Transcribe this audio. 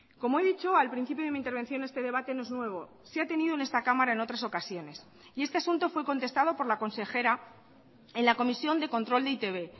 como he dicho al principio de mi intervención este debate no es nuevo se ha tenido en esta cámara en otras ocasiones y este asunto fue contestado por la consejera en la comisión de control de e i te be